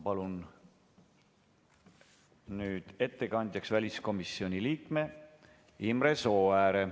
Palun ettekandjaks väliskomisjoni liikme Imre Sooääre.